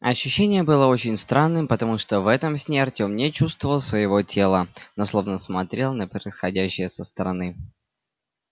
ощущение было очень странным потому что в этом сне артем не чувствовал своего тела но словно смотрел на происходящее со стороны